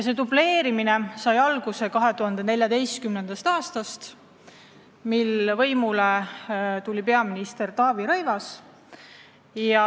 See dubleerimine sai alguse 2014. aastal, mil võimule tuli peaminister Taavi Rõivas.